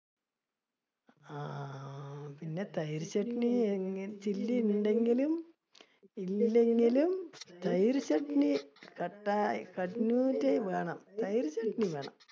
ആഹ് പിന്നെ തൈര് ചട്നി chilly ഉണ്ടെങ്കിലും, ഇല്ലെങ്കിലും തൈര് ചട്നി വേണം, തൈര് ചട്നി വേണം.